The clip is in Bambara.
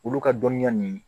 Olu ka dɔnniya nin